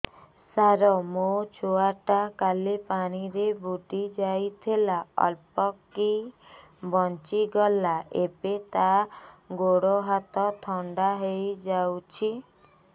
ସାର ମୋ ଛୁଆ ଟା କାଲି ପାଣି ରେ ବୁଡି ଯାଇଥିଲା ଅଳ୍ପ କି ବଞ୍ଚି ଗଲା ଏବେ ତା ଗୋଡ଼ ହାତ ଥଣ୍ଡା ହେଇଯାଉଛି